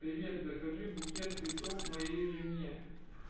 привет закажи букет цветов моей жене